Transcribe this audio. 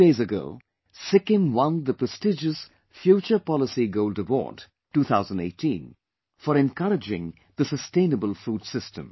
A few days ago Sikkim won the prestigious Future Policy Gold Award, 2018 for encouraging the sustainable food system